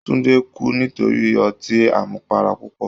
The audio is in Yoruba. Tundé kú nítorí ọtí àmupara púpọ̀.